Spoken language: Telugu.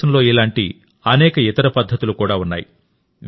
భారతదేశంలో ఇలాంటి అనేక ఇతర పద్ధతులు ఉన్నాయి